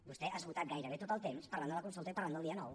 vostè ha esgotat gairebé tot el temps parlant de la consulta i parlant del dia nou